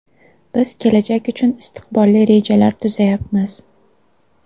Biz kelajak uchun istiqbolli rejalar tuzayapmiz.